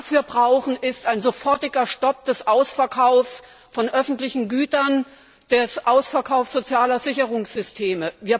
Was wir brauchen, ist ein sofortiger Stopp des Ausverkaufs von öffentlichen Gütern, des Ausverkaufs sozialer Sicherungssysteme.